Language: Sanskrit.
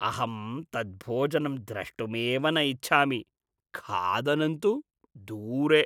अहं तत् भोजनं द्रष्टुमेव न इच्छामि, खादनं तु दूरे।